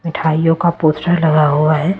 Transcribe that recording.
मिठाइयों का पोस्टर लगा हुआ है।